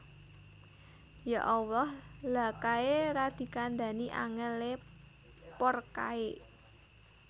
Ya Allah lha kae ra dikandani angel e poor kae